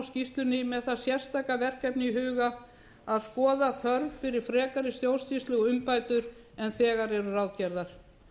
skýrslunni með það sérstaka verkefni í huga að skoða þörf fyrir frekari stjórnsýslu og umbætur en þegar eru ráðgerðar